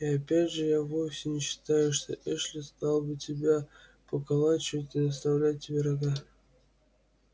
и опять же я вовсе не считаю что эшли стал бы тебя поколачивать или наставлять тебе рога